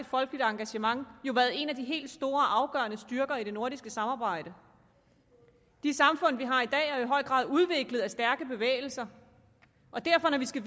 folkeligt engagement jo været en af de helt store afgørende styrker i det nordiske samarbejde de samfund vi har i dag er jo i høj grad udviklet af stærke bevægelser derfor skal